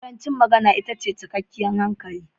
Ƙarancin magana itace cikar hankali.